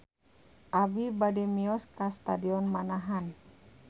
Abi bade mios ka Stadion Manahan